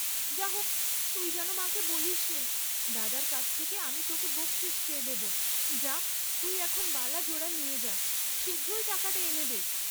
যাহক তুই যেন মাকে বলিসনে, দাদার কাছ থেকে আমি তােকে বক্‌সিস চেয়ে দেব, যা তুই এখন বালা জোড়া নিয়ে যা, শীঘ্র টাকাটা এনে দে।